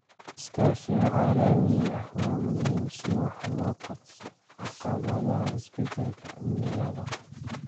Iskaashiga caalamiga ah waa muhiim si wax looga qabto caqabadaha isbeddelka cimilada.